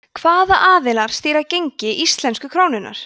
hvaða aðilar stýra gengi íslensku krónunnar